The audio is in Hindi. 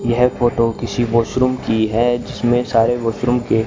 यह फोटो किसी वॉशरूम की है जिसमें सारे वॉशरूम के--